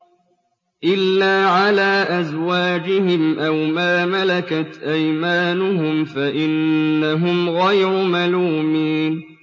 إِلَّا عَلَىٰ أَزْوَاجِهِمْ أَوْ مَا مَلَكَتْ أَيْمَانُهُمْ فَإِنَّهُمْ غَيْرُ مَلُومِينَ